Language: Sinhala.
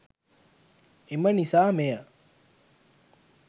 එම නිසා මෙය